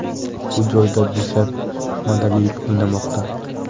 Bu joyda Dilshod Ahmadaliyev o‘ynamoqda.